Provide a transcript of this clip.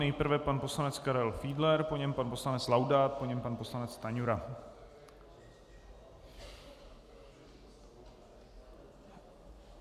Nejprve pan poslanec Karel Fiedler, po něm pan poslanec Laudát, po něm pan poslanec Stanjura.